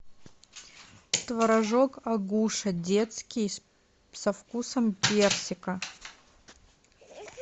творожок агуша детский со вкусом персика